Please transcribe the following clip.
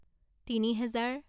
তিনি হেজাৰ